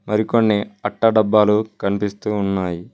మరికొన్ని అట్ట డబ్బాలు కనిపిస్తూ ఉన్నాయి.